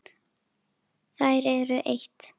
Þær eru eitt.